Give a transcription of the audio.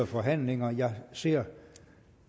forhandlinger jeg ser at